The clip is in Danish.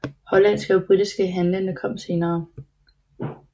Hollandske og britiske handlende kom senere